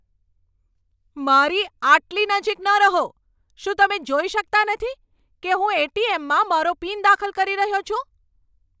મારી આટલી નજીક ન રહો! શું તમે જોઈ શકતા નથી કે હું એટીએમમાં મારો પીન દાખલ કરી રહ્યો છું?